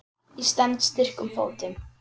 Ég stend styrkum fótum.